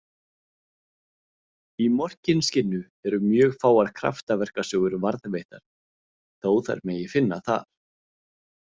Í Morkinskinnu eru mjög fáar kraftaverkasögur varðveittar, þó þær megi finna þar .